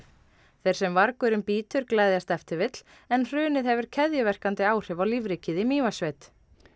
þeir sem vargurinn bítur gleðjast ef til vill en hrunið hefur keðjuverkandi áhrif á lífríkið í Mývatnssveit